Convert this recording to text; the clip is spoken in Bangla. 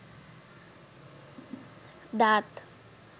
দাঁত